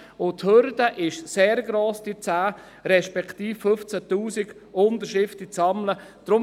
Zudem ist die Hürde mit den zu sammelnden 10 000 respek- tive 15 000 Unterschriften sehr hoch.